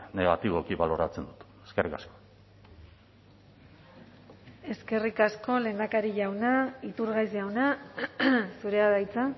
negatiboki baloratzen dut eskerrik asko eskerrik asko lehendakari jauna iturgaiz jauna zurea da hitza